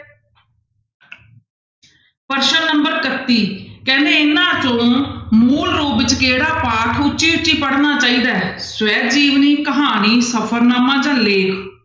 ਪ੍ਰਸ਼ਨ number ਇਕੱਤੀ ਕਹਿੰਦੇ ਇਹਨਾਂ ਚੋਂ ਮੂਲ ਰੂਪ 'ਚ ਕਿਹੜਾ ਪਾਠ ਉੱਚੀ ਉੱਚੀ ਪੜ੍ਹਨਾ ਚਾਹੀਦਾ ਹੈ ਸਵੈ ਜੀਵਨੀ, ਕਹਾਣੀ, ਸਫ਼ਰਨਾਮਾ ਜਾਂ ਲੇਖ।